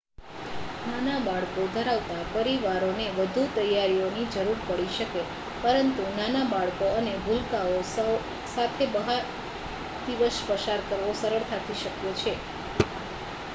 નાના બાળકો ધરાવતા પરિવારોને વધુ તૈયારીઓની જરૂર પડી શકે, પરંતુ નાના બાળકો અને ભૂલકાઓ સાથે પણ બહાર દિવસ પસાર કરવો સરળતાથી શક્ય છે